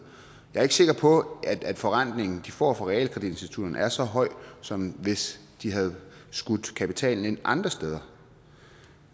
er ikke sikker på at forrentningen som de får fra realkreditinstitutterne er så høj som hvis de havde skudt kapitalen ind andre steder